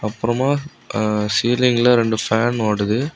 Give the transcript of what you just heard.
அப்புறமா சீலிங்ல ரெண்டு ஃபேன் ஓடுது.